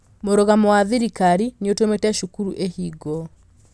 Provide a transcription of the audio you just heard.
Mũrugamo wa thirikari nĩ ũtũmĩte cukuru ihingwo